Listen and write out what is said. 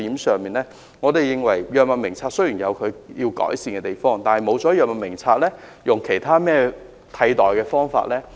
我們也認為藥物名冊有需要改善之處，但若取消了藥物名冊的話，又有何替代方案呢？